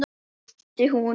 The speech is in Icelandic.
æpti hún.